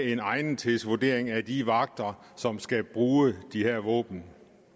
en egnethedsvurdering af de vagter som skal bruge de her våben